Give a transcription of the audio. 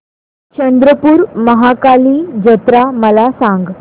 चंद्रपूर महाकाली जत्रा मला सांग